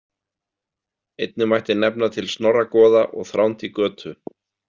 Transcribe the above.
Einnig mætti nefna til Snorra goða og Þránd í Götu.